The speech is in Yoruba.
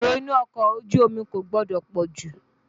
Èrò inú ọkọ̀ ojú omi kò gbọdọ̀ pọ̀ jù.